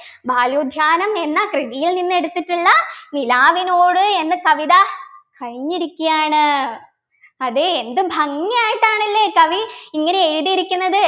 ബലോദ്യാനം എന്ന കൃതിയിൽനിന്നെടുത്തിട്ടുള്ള നിലാവിനോട് എന്ന കവിത കഴിഞ്ഞിരിക്കയാണ് അതെ എന്ത് ഭാഗിയായിട്ടാണല്ലേ കവി ഇങ്ങനെ എഴുതിയിരിക്കുന്നത്